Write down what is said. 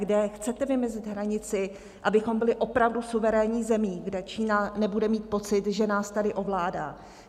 Kde chcete vymezit hranici, abychom byli opravdu suverénní zemí, kde Čína nebude mít pocit, že nás tady ovládá?